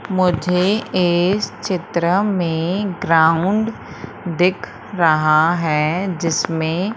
मुझे इस चित्र में ग्राउंड दिख रहा है जिसमें--